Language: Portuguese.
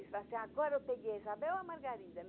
Eles falavam assim, agora eu peguei a Isabel ou a Margarida?